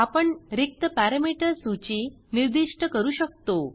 आपण रिक्त पॅरमीटर सूची निर्दिष्ट करू शकतो